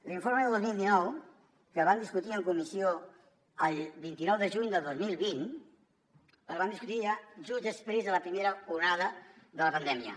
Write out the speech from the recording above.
l’informe del dos mil dinou que van discutir en comissió el vint nou de juny del dos mil vint el van discutir just després de la primera onada de la pandèmia